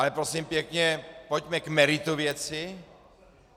Ale prosím pěkně, pojďme k meritu věci.